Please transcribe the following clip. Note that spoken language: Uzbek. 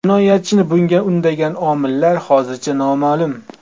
Jinoyatchini bunga undagan omillar hozircha noma’lum.